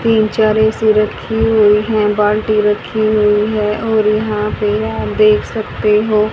तीन चार ऐ_सी रखी हुई है बाल्टी रखी हुई है और यहां पर यह देख सकते हो--